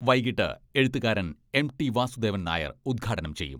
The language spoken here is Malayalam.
വൈകീട്ട് എഴുത്തുകാരൻ എം.ടി.വാസുദേവൻ നായർ ഉദ്ഘാടനം ചെയ്യും.